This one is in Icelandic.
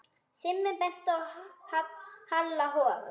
Simmi benti á Halla hor.